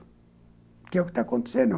Porque é o que está acontecendo.